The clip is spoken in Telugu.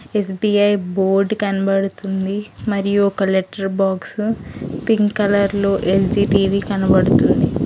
ఎస్_బి_ఐ బోర్డ్ కనబడుతుంది మరియు ఒక letter box pink colour LG TV కనబడుతుంది.